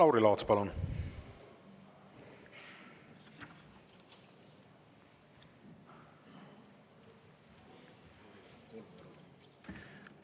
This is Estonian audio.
Lauri Laats, palun!